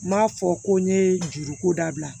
N m'a fɔ ko n ye juruko dabila